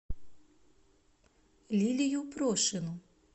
лилию прошину